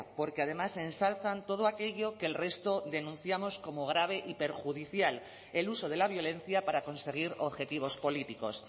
porque además ensalzan todo aquello que el resto denunciamos como grave y perjudicial el uso de la violencia para conseguir objetivos políticos